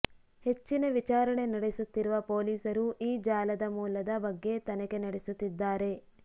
ಹೆಚ್ಚಿನ ವಿಚಾರಣೆ ನಡೆಸುತ್ತಿರುವ ಪೋಲೀಸರು ಈ ಜಾಲದ ಮೂಲದ ಬಗ್ಗೆ ತನಿಖೆ ನಡೆಸುತ್ತಿದ್ದಾರೆ